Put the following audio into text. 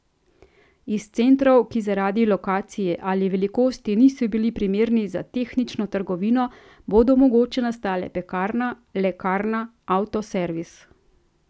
Iz centrov, ki zaradi lokacije ali velikosti niso bili primerni za tehnično trgovino, bodo mogoče nastale pekarna, lekarna, avtoservis.